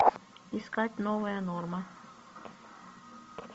искать новая норма